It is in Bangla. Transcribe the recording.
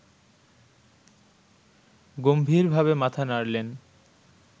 গম্ভীরভাবে মাথা নাড়লেন